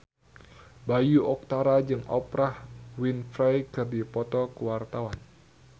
Bayu Octara jeung Oprah Winfrey keur dipoto ku wartawan